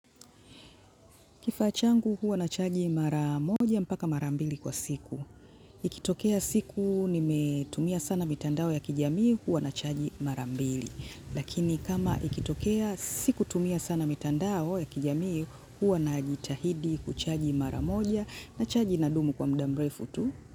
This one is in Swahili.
Kifaa changu huwa nachaji mara moja mpaka mara mbili kwa siku. Ikitokea siku nimetumia sana mitandao ya kijamii huwa nachaji mara mbili. Lakini kama ikitokea sikutumia sana mitandao ya kijamii huwa najitahidi kuchaji mara moja na chaji inadumu kwa muda mrefu tu.